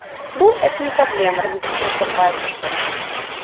ну это не проблема развеселился парень